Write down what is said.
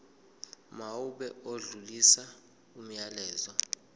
mawube odlulisa umyalezo